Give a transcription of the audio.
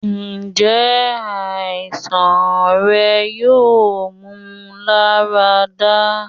njẹ aisan rẹ yoo mu larada?